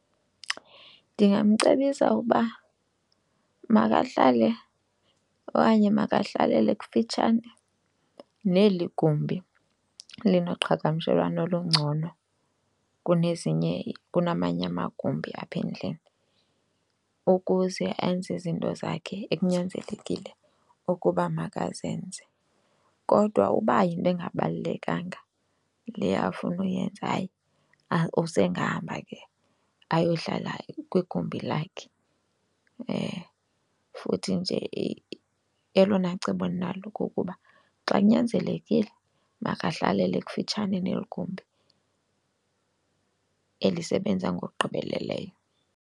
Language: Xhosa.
Ndingamcebisa ukuba makahlale okanye makahlalele kufitshane neli gumbi linoqhagamshelwano olungcono kunezinye kunamanye amagumbi apha endlini ukuze enze izinto zakhe ekunyanzelekile ukuba makazenze. Kodwa uba yinto engabalulekanga le afuna uyenza, hayi usengahamba ke ayohlala kwigumbi lakhe. Futhi nje elona cebo ndinalo kukuba xa kunyanzelekile makahlalele kufitshane neli gumbi elisebenza ngokugqibeleleyo.